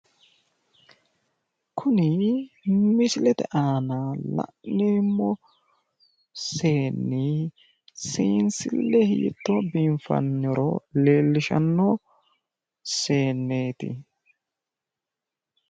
Kuni misilete aana la'neemmo seenni seensille hiittoo biiffannoro leellishanno seenneeti.